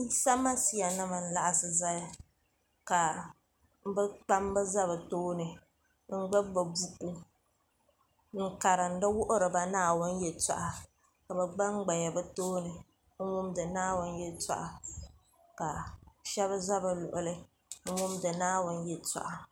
yisa masiya nim saɣisi zaya ka be kpabi za be tuuni ka be gba gbabi buku n karinidi wuhiriba naawuni yɛtoɣ' ka be gba gbaya be tuuni n wumidi naawuni yɛtoɣ' ka shɛba za be luɣili n wumidi naawuni yɛtoɣ'